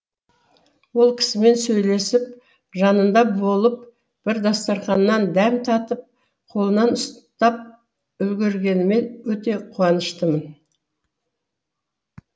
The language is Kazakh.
ол кісімен сөйлесіп жанында болып бір дастарханнан дәм татып қолынан ұстап үлгергеніме өте қуаныштымын